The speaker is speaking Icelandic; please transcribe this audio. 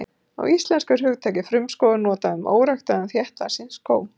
Á íslensku er hugtakið frumskógur notað um óræktaðan þéttvaxinn skóg.